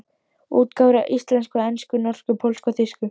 Útgáfur á íslensku, ensku, norsku, pólsku og þýsku.